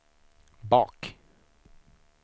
bak